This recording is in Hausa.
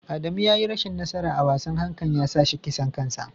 Adamu ya yi rashin nasara a wasan hankan ya sa shi kisan kansa.